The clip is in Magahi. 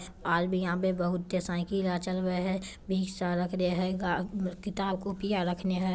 और भी यहाँ पे बहुते साइकिल चल रहले है। बीच सा रखदे है ग किताब कापियां रखने है।